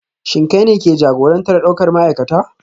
Shin kai ne ke jagorantar daukar ma'aikata?